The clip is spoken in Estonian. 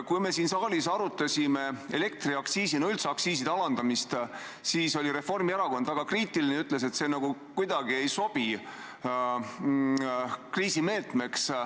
Kui me siin saalis arutasime elektriaktsiisi, üldse aktsiiside alandamist, siis oli Reformierakond väga kriitiline ja ütles, et see kuidagi ei sobi kriisimeetmeks.